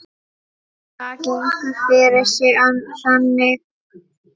Það gengur fyrir sig þannig